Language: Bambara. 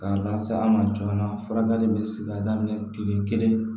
K'a lase an ma joona furakɛli bɛ se k'a daminɛ kile kelen